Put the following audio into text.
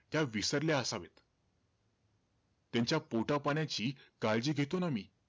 त्या विसरल्या असावेत. त्यांच्या पोटापाण्याची काळजी घेतो ना मी.